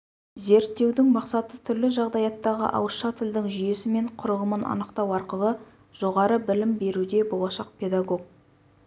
зерттеудің мақсаты түрлі жағдаяттағы ауызша тілдің жүйесі мен құрылымын анықтау арқылы жоғары білім беруде болашақ педагог